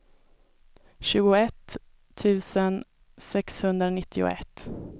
tjugoett tusen sexhundranittioett